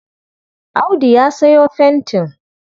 Audu ya sayo fentin.